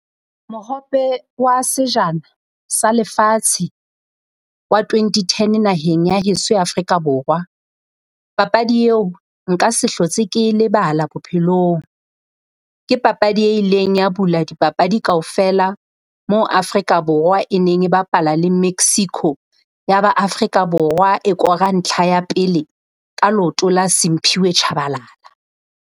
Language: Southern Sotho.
Mohope wa sejana sa lefatshe wa twenty ten naheng ya heso ya Afrika Borwa, papadi eo nka se hlotse ke e lebala bophelong. Ke papadi e ileng ya bula dipapadi kaofela mo-Afrika Borwa e neng e bapala le Mexico, ya ba Afrika Borwa e kora ntlha ya pele ka leoto la Simphiwe Tshabalala.